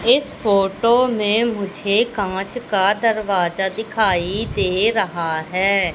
इस फोटो में मुझे कांच का दरवाजा दिखाई दे रहा है।